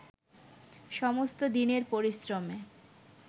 সমস্ত দিনের পরিশ্রমে